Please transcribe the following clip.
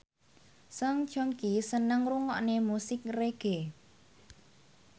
Song Joong Ki seneng ngrungokne musik reggae